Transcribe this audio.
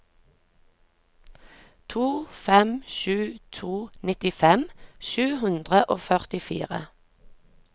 to fem sju to nittifem sju hundre og førtifire